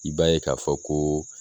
I b'a ye k'a fɔ ko